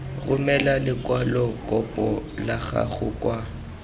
romela lekwalokopo la gago kwa